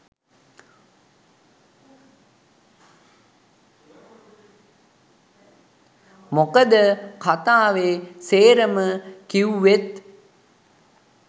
මොකද කතාවේ සේරම කිවුවෙත්